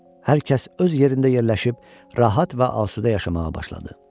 Hər kəs öz yerində yerləşib rahat və asudə yaşamağa başladı.